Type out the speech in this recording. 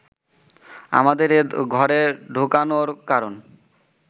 আমাদের এ ঘরে ঢোকানোর কারণ